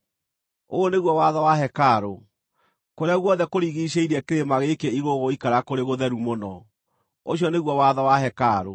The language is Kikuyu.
“Ũyũ nĩguo watho wa hekarũ: Kũrĩa guothe kũrigiicĩirie kĩrĩma gĩkĩ igũrũ gũgũikara kũrĩ gũtheru mũno. Ũcio nĩguo watho wa hekarũ.